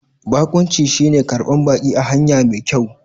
Bakunci shine ƙarban baki a hanya mai kyau.